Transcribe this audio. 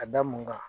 A da mun kan